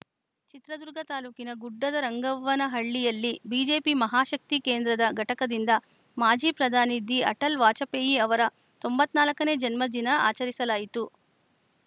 ಚಿತ್ರದುರ್ಗ ತಾಲೂಕಿನ ಗುಡ್ಡದರಂಗವ್ವನಹಳ್ಳಿಯಲ್ಲಿ ಬಿಜೆಪಿ ಮಹಾಶಕ್ತಿ ಕೇಂದ್ರದ ಘಟಕದಿಂದ ಮಾಜಿ ಪ್ರಧಾನಿ ದಿಅಟಲ್‌ ವಾಜಪೇಯಿ ಅವರ ತೊಂಬತ್ತ್ ನಾಲ್ಕ ನೇ ಜನ್ಮದಿನ ಆಚರಿಸಲಾಯಿತು